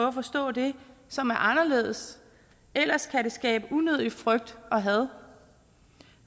at forstå det som er anderledes ellers kan det skabe unødig frygt og had